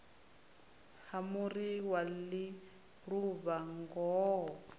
ha muri wa ḽiluvha ngoho